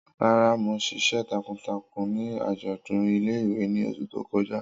Rara, Mo ṣiṣẹ takuntakun ni ajọdun ile-iwe ni oṣu to kọja.